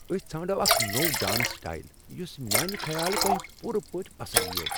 أسۍ ژھانڈو اکھ نوٚو ڈانس سٹائل یس میانِہ خیال تۄہہ پوٗرٕ پٲٹھۍ پسند یِیوہ۔